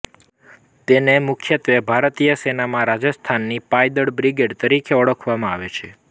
તેને મુખ્યત્ત્વે ભારતીય સેનામાં રાજસ્થાનની પાયદળ બ્રિગેડ તરીકે ઓળખવામાં આવે છે